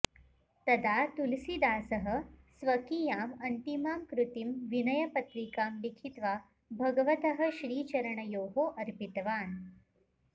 तदा तुलसीदासः स्वकीयाम् अन्तिमां कृतिं विनयपत्रिकां लिखित्वा भगवतः श्रीचरणयोः अर्पितवान्